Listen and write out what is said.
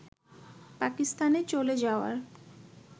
পাকিস্তানে চলে যাওয়ার